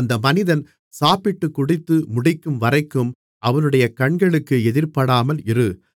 அந்த மனிதன் சாப்பிட்டுக் குடித்து முடிக்கும்வரைக்கும் அவனுடைய கண்களுக்கு எதிர்ப்படாமல் இரு